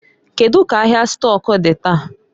Kedu ka ahịa stọk dị taa?